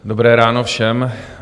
Dobré ráno všem.